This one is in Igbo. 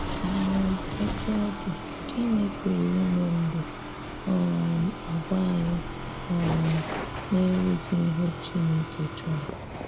um Otú ọ dị, gị́nị̀ pụrụ imè mgbè um àgwà̀ anyị um na-erughị̀ ihè Chinekè chọrọ?